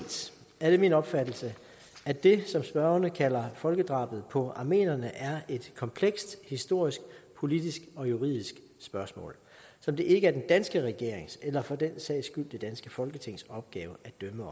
er det min opfattelse at det som spørgerne kalder folkedrabet på armenierne er et komplekst historisk politisk og juridisk spørgsmål som det ikke er den danske regerings eller for den sags skyld det danske folketings opgave at dømme